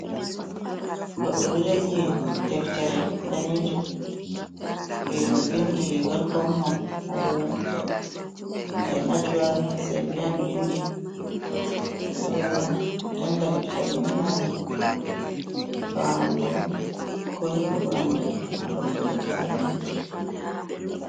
Goɗɗo ɗo jogi deftere danejum ɓe vindi welcom hom haɗo mai je najwa zerbian vindi ɓeɗo janga deftere ni ngam famugo ko hebugo andal haɗo ko goɗɗo anda.